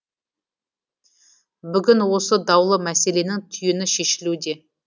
бүгін осы даулы мәселенің түйіні шешілуде